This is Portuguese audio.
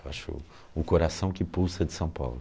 Eu acho o coração que pulsa de São Paulo.